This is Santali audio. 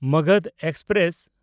ᱢᱚᱜᱚᱫᱷ ᱮᱠᱥᱯᱨᱮᱥ